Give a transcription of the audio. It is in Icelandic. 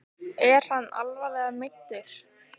Er hann alvarlega meiddur?